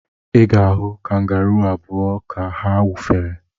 Ị ga-ahụ kangaruu abụa ka ha wụfere.